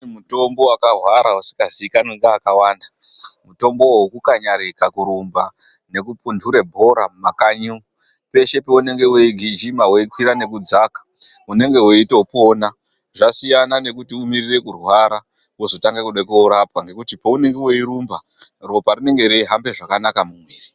Mutombo wakahwara usikaziikanwi nevakawanda, mutombo wokukanyarika, kurumba, nekupunhure bhora mumakanyi. Peshe peunege weigijima weikwira nekudzika unenge weitopona. Zvasiyana nekuti umirire kurwara, wozotange kuda koorapwa ngekuti paunenge weirumba, ropa rinenge reihamba zvakanaka mumuiri.